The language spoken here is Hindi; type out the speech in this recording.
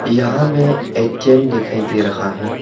यहां में ए_टी_एम दिखाई दे रहा है।